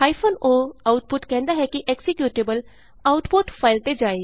o output ਕਹਿੰਦਾ ਹੈ ਕਿ ਐਕਜ਼ੀਕਯੂਟੇਬਲ ਆਉਟਪੁਟ ਫਾਈਲ ਤੇ ਜਾਏ